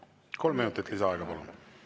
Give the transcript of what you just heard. Kolm minutit lisaaega, palun!